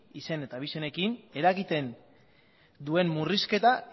izen eta abizenekin eragiten duen murrizketak